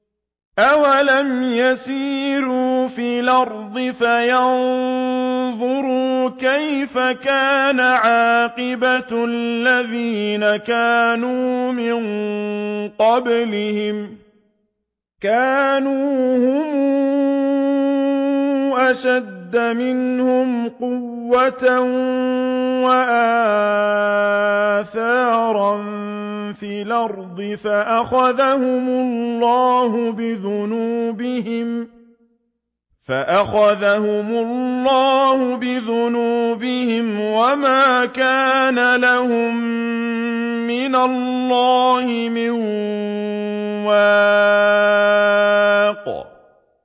۞ أَوَلَمْ يَسِيرُوا فِي الْأَرْضِ فَيَنظُرُوا كَيْفَ كَانَ عَاقِبَةُ الَّذِينَ كَانُوا مِن قَبْلِهِمْ ۚ كَانُوا هُمْ أَشَدَّ مِنْهُمْ قُوَّةً وَآثَارًا فِي الْأَرْضِ فَأَخَذَهُمُ اللَّهُ بِذُنُوبِهِمْ وَمَا كَانَ لَهُم مِّنَ اللَّهِ مِن وَاقٍ